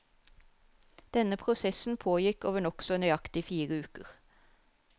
Denne prosessen pågikk over nokså nøyaktig fire uker.